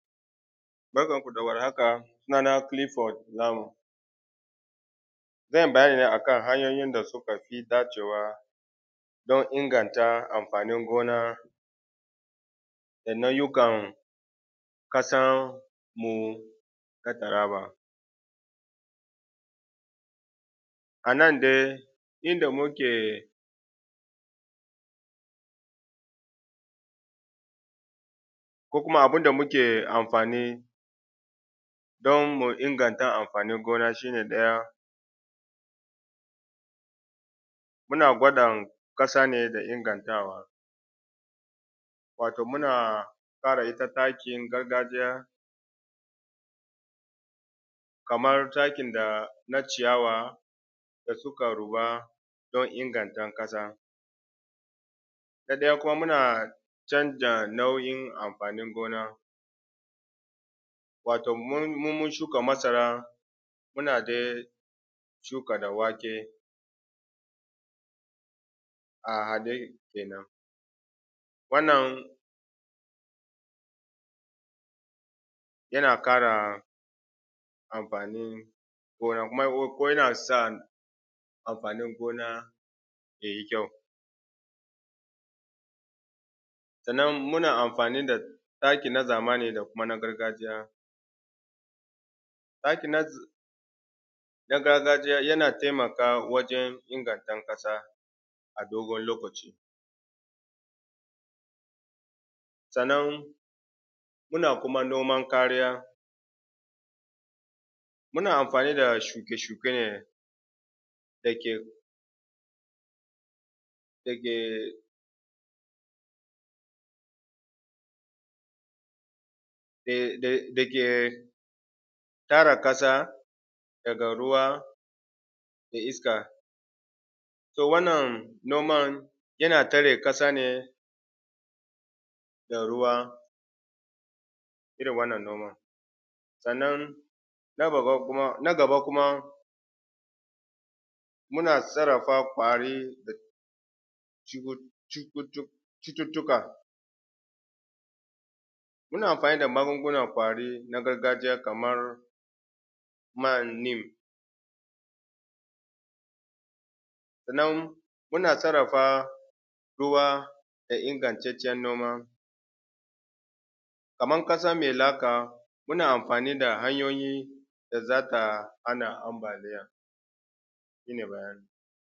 Barkanmu da warhaka sunana Kilifod Lamu zan yi bayani ne akan hanyoyin da suka fi dacewa don inganta amfanin gona da nau’ikan kasanmu ta Taraba. A nan dai inda muke ko kuma abun da muke anfani don mu inganta amfanin gona shi ne ɗaya muna gwadon ƙasa ne da ingantawa wato muna fara zuba takin gargajiya kamar takin dana ciyawa da suka ruba don ingantan ƙasa na daya kuma muna canza nauyin amfanin gona wato mu mun shuka masara muna dai shuka da wake a hade kenan wannan yana kara amfani gona kuma yana sa amfanin gona ya yi kyau sannan muna amfani da taki na zamani da kuma na gargajiya taki nan na gargajiya yana taimaka wajen inganta kasa a dogon lokaci sannan muna kuma noman kariya muna amfani da shuke shuke dake dake dake tara ƙasa daga ruwa da iska to wannan noman yana tare ƙasa ne da ruwa irin wannan noman sannna na gaba kama muna sarrafa kwari cututtuka muna amfani da magungunan kwari na gargajiya kaman man lim sannan muna sarrrafa ruwa domin ingattacen noma Kaman kasa me laka muna amfni da hanyoyi da zamu hana ambaliya